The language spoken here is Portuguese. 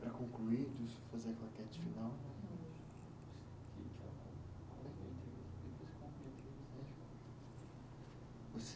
Para concluir, fazer a claquete final